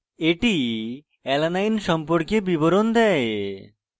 এটি alanine সম্পর্কিত বিবরণ দেয়